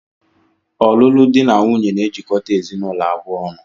Ọlụlụ dị na nwunye na-ejikọta ezinụlọ abụọ ọnụ